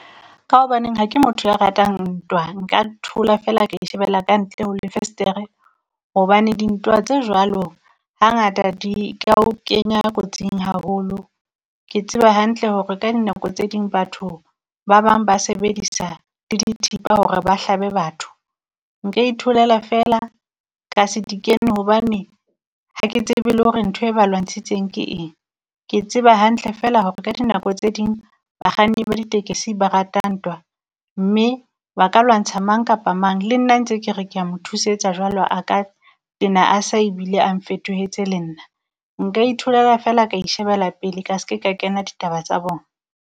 Ka hobaneng ha ke motho ya ratang nthwa, nka thola fela ka ishebella ka ntle ho le festere. Hobane dintwa tse jwalo hangata di ka o kenya kotsing haholo. Ke tseba hantle hore ka dinako tse ding batho ba bang ba sebedisa le dithipa hore ba hlabe batho. Nka itholela fela ka se di kene hobane ha ke tsebe lore nthoe ba lwantsitseng ke eng. Ke tseba hantle fela hore ka dinako tse ding bakganni ba ditekesi, ba rata ntwa, mme ba ka lwantsha mang kapa mang. Le nna ntse kere ke a mo thusetsa jwalo a ka tena a sa ebile ang fetohetse le nna. Nka itholela fela ka ishebela pele ka ske, ka kena ditaba tsa bona.